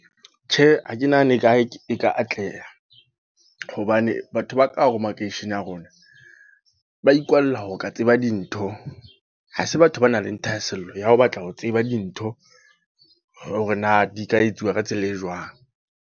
Tjhe, ha ke nahane e ka atleha. Hobane batho ba ka hore makeishene a rona. Ba ikwalla ho ka tseba dintho. Ha se batho ba nang le thahasello ya ho batla ho tseba dintho. Hore na di ka etsuwa ka tsela e jwang.